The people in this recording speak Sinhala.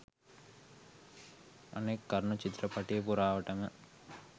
අනෙක් කරුණ චිත්‍රපටය පුරාවටම